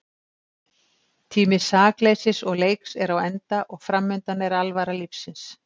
Tími sakleysis og leiks er á enda og framundan er alvara lífsins.